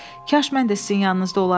Kaş mən də sizin yanınızda olardım.